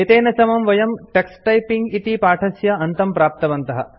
एतेन समं वयं टक्स टाइपिंग इति पाठस्य अन्तं प्राप्तवन्तः